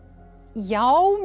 já